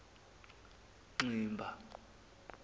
ximba